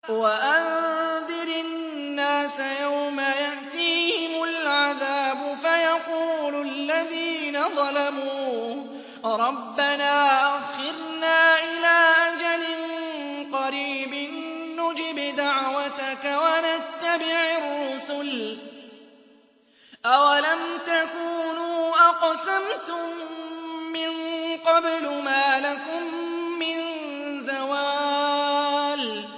وَأَنذِرِ النَّاسَ يَوْمَ يَأْتِيهِمُ الْعَذَابُ فَيَقُولُ الَّذِينَ ظَلَمُوا رَبَّنَا أَخِّرْنَا إِلَىٰ أَجَلٍ قَرِيبٍ نُّجِبْ دَعْوَتَكَ وَنَتَّبِعِ الرُّسُلَ ۗ أَوَلَمْ تَكُونُوا أَقْسَمْتُم مِّن قَبْلُ مَا لَكُم مِّن زَوَالٍ